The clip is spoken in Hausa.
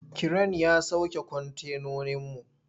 Kiren ya sauke kwantenoninmu.